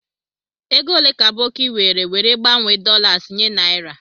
Ego ole ka Aboki were were gbanwe dolas nye naira?